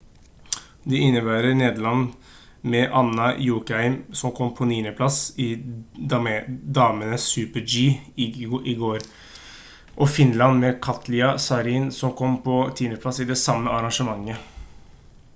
de innebærer nederland med anna jokjemien som kom på 9. plass i damenes super-g i går og finland med katja saarinen som kom på 10. plass i det samme arrangementet